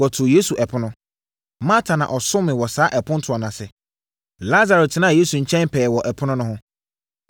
Wɔtoo Yesu ɛpono. Marta na ɔsomee wɔ saa apontoɔ yi ase. Lasaro tenaa Yesu nkyɛn pɛɛ wɔ ɛpono no ho.